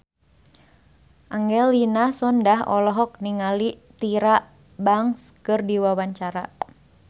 Angelina Sondakh olohok ningali Tyra Banks keur diwawancara